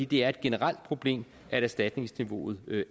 det er et generelt problem at erstatningsniveauet